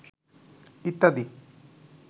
ইত্যাদি